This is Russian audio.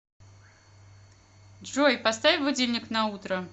джой поставь будильник на утро